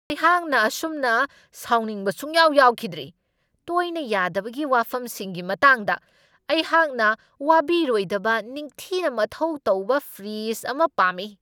ꯑꯩꯍꯥꯛꯅ ꯑꯁꯨꯝꯅ ꯁꯥꯎꯅꯤꯡꯕ ꯁꯨꯛꯌꯥꯎ ꯌꯥꯎꯈꯤꯗ꯭ꯔꯤ, ꯇꯣꯏꯅ ꯌꯥꯗꯕꯒꯤ ꯋꯥꯐꯝꯁꯤꯡꯒꯤ ꯃꯇꯥꯡꯗ ꯑꯩꯍꯥꯛꯅ ꯋꯥꯕꯤꯔꯣꯏꯗꯕ ꯅꯤꯡꯊꯤꯅ ꯃꯊꯧ ꯇꯧꯕ ꯐ꯭ꯔꯤꯗꯖ ꯑꯃ ꯄꯥꯝꯃꯤ ꯫